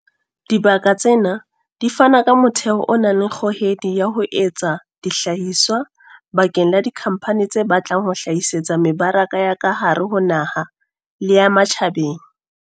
Dibaka tsena di fana ka motheo o nang le kgohedi ya ho etsa dihlahiswa bakeng la dikhampani tse batlang ho hlahisetsa mebaraka ya ka hare ho naha le ya ma tjhabeng.